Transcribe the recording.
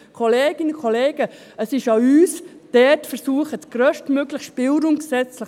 Kolleginnen und Kollegen, es ist an uns, hier zu versuchen, gesetzlich den grösstmöglichen Spielraum zu geben.